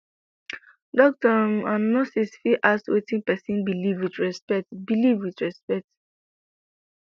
doctor um and nurse fit ask wetin pesin believe with respect believe with respect